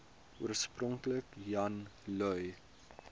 oorspronklik jan lui